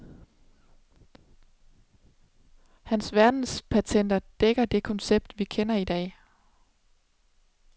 Hans verdenspatenter dækker det koncept, vi kender i dag.